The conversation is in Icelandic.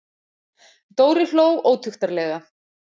Dóri hló ótuktarlega.